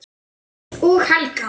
Og Helga.